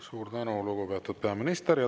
Suur tänu, lugupeetud peaminister!